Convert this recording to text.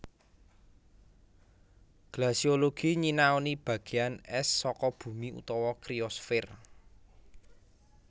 Glasiologi nyinaoni bagéan ès saka bumi utawa kriosfèr